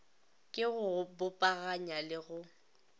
ke go bopaganya le go